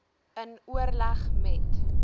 in oorleg met